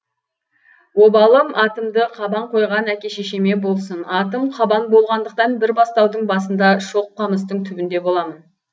обалым атымды қабан қойған әке шешеме болсын атым қабан болғандықтан бір бастаудың басында шоқ қамыстың түбінде боламын